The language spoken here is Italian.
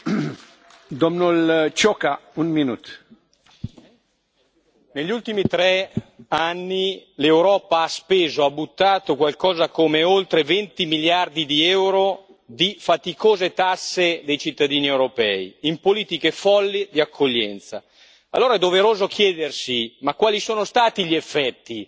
Signor Presidente, onorevoli colleghi, negli ultimi tre anni l'Europa ha speso, ha buttato, qualcosa come oltre 20 miliardi di euro di faticose tasse dei cittadini europei in politiche folli di accoglienza. Allora è doveroso chiedersi quali sono stati gli effetti?